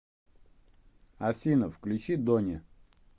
афина включи дони